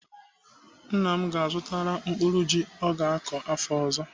Nna m ga-azụtara mkpụrụ ji ọ ga-akọ afọ ọzọ.